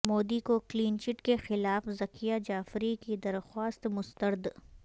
مودی کو clean chit کے خلاف ذکیہ جعفری کی درخواست مسترد